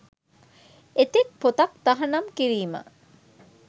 එතෙක් පොතක් තහනම් කිරීම